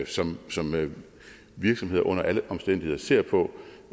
som som virksomheder under alle omstændigheder ser på